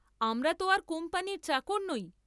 আমরা ত আর কোম্পানীর চাকর নই।